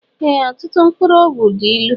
Ee ọtụtụ mkpụrụ ọgwụ dị ịlụ